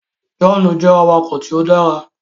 John jẹ awakọ̀ tíó dára.